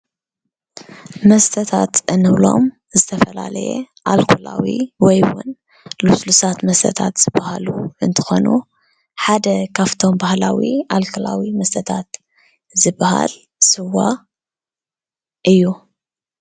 መስተታት እንብሎም ዝተፈላለየ ኣልኮላዊ ወይ እውን ልስሉሳት መሰታት ዝበሃሉ እንትኮኑ ሓደ ካብቶም ባህላዊ ኣልኮላዊ መስተታት ዝበሃል ስዋ እዩ።